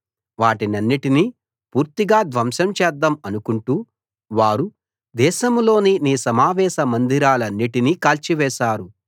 వాటినన్నిటినీ పూర్తిగా ధ్వంసం చేద్దాం అనుకుంటూ వారు దేశంలోని నీ సమావేశ మందిరాలన్నిటినీ కాల్చివేశారు